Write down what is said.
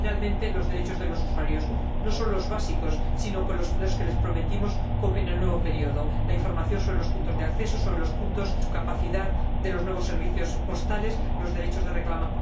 y, finalmente, los derechos de los usuarios, que no son los básicos, sino los que les prometimos en el nuevo período la información sobre los puntos de acceso, sobre la capacidad de los nuevos servicios postales, los derechos de reclamación